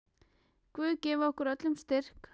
Guð gefi okkur öllum styrk.